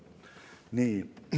Nii.